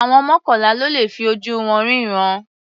Àwọn mọ́kànlá ló le fi ojú wọn rínran.